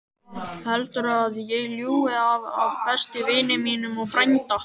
Heldurðu að ég ljúgi að besta vini mínum og frænda?